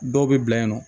Dɔw bɛ bila yen nɔ